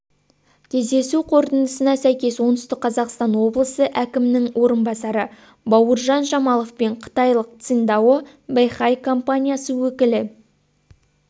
кездесу қорытындысына сәйкес оңтүстік қазақстан облысы әкімінің орынбасары бауыржан жамалов пен қытайлық циндао бэйхай компаниясы өкілі